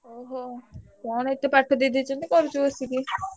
ଓହୋ, କଣ ଏତେ ପାଠ ଦେଇଦେଇଛନ୍ତି କରୁଛୁ ବସିକି?